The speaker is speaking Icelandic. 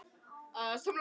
Þetta var þriðja kortið.